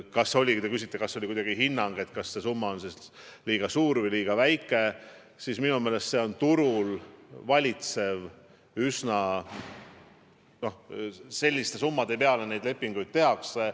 Ja kui te küsite kuidagi hinnangut, kas see summa on liiga suur või liiga väike, siis minu meelest see on turul valitsev hind – selliste summade peale neid lepinguid tehakse.